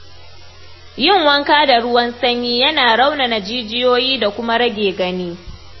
Yin wanka da ruwan sanyi yana raunana jijiyoyi da kuma rage gani.